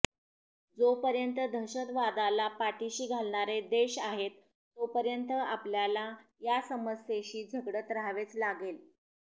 जोपर्यंत दहशतवादाला पाठीशी घालणारे देश आहेत तोपर्यंत आपल्याला या समस्येशी झगडत राहावेच लागेल